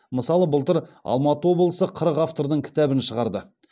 мысалы былтыр алматы облысы қырық автордың кітабын шығарды